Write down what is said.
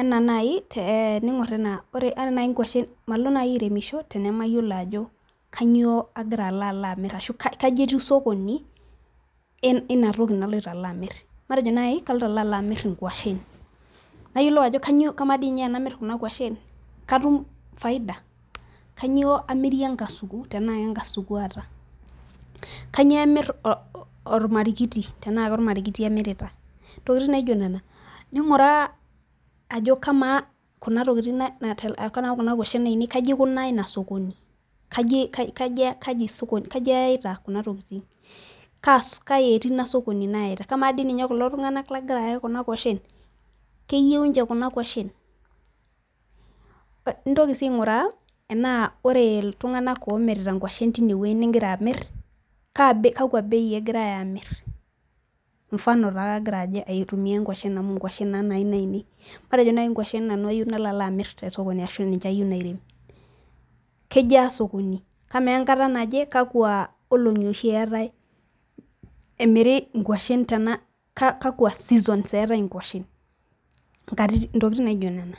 enaa naai teningor anaa .ore naaji nkuashen Malo naji airemosho tenamayiolo ajo kainyioo ashu kaji etiu sokoni, eina toki naloito alo amir, matejo naaji kaloito alo amir inkuashen. nayiolou ajo kamaa dii ninye tenamir Kuna nkuashen katum faida. kainyioo amirie enkasuku, tenaa kenkasuku aata, kainyioo amir olmarikiti tenaa kolamarikiti amirita, ntokitin naijo kamaa Kuna tokitin na.kamaa Kuna kuashen ainei kaji aikunaa Ina sokoni, kaji sokoni, kaji ayita Kuna tokitin, kaji etii I a sokoni nayita. kamaa dii ninye kulo tunganak lagira ayaki Kuna kuashen. keyiieu ninche Kuna kuashen. intoki sii aingura tenaa ore iltunganak oomirita nguashen teine wueji nigira amir kaa, kakua bei egirae Aamir. mfano take agira aitumia nguashen amu nguashen naa Ina inei, matejo naji nguashen nanu ayeeu nanu nalo amir te sokoni. ashu ninche ayieu nairem. kejia sokoni. amaa enkata naje kakua olong'i oshi eetae emiri nkuashen tena kakua seasons eetae nkuashen ntokitin naijo Nena.